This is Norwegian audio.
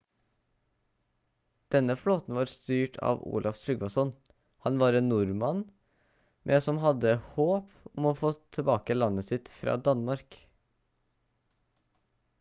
denne flåten var styrt av olaf trygvasson han var en nordmann med som hadde håp om å få tilbake landet sitt fra danmark